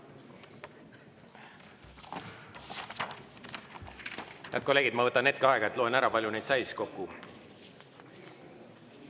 Head kolleegid, ma võtan hetke aega ja loen üle, palju neid kokku sai.